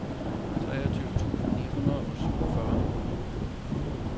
treogtyve tusind ni hundrede og syvogfyrre